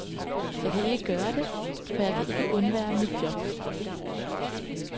Jeg kan ikke gøre det, for jeg kan ikke undvære mit job.